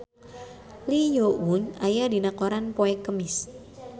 Lee Yo Won aya dina koran poe Kemis